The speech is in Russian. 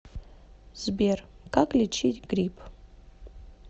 сбер как лечить грипп